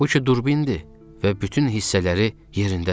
Bu ki turbindir və bütün hissələri yerindədir.